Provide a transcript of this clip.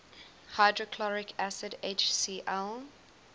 hydrochloric acid hcl